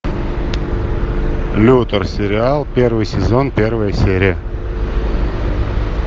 лютер сериал первый сезон первая серия